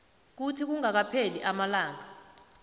kuthi kungakapheli amalanga